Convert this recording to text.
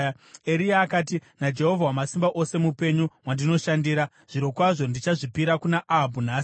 Eria akati, “NaJehovha Wamasimba Ose mupenyu, wandinoshandira, zvirokwazvo ndichazvipira kuna Ahabhu nhasi.”